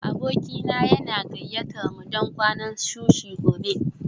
Abokina yana gayyatar mu don kwanan sushi gobe